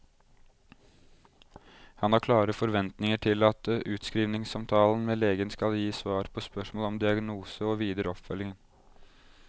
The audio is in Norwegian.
Han har klare forventninger til at utskrivningssamtalen med legen skal gi svar på spørsmål om diagnose og videre oppfølging.